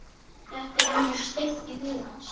Þetta var eins og steypt í huga hans.